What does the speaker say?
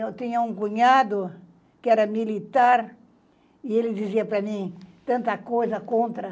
Eu tinha um cunhado que era militar e ele dizia para mim, tanta coisa contra.